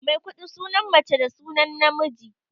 Maikuɗi sunan mace da sunan namiji.